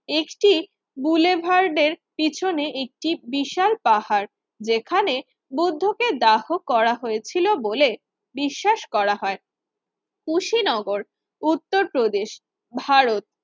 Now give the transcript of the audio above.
একটি গোলেভারদের পিছনে একটি বিশাল পাহাড় যেখানে বৌদ্ধকে দাহ করা হয়েছিল বলে বিশ্বাস করা হয়। কুশীনগর উত্তর প্রদেশ ভারত